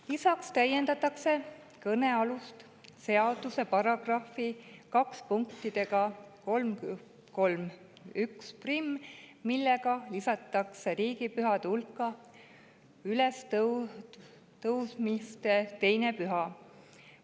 Lisaks täiendatakse kõnealuse seaduse § 2 punktiga 31, millega lisatakse riigipühade hulka ülestõusmispühade 2. püha.